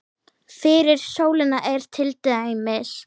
Fyrir sólina er til dæmis